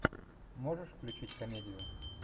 можешь включить комедию